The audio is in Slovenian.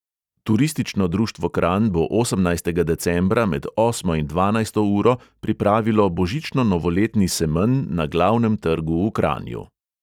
Turistično društvo kranj bo osemnajstega decembra med osmo in dvanajsto uro pripravilo božično-novoletni semenj na glavnem trgu v kranju.